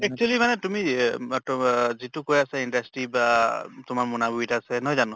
actually মানে তুমি এহ যিটো কৈ আছা industry বা তোমাৰ মুনাবৰিত আছে নহয় জানো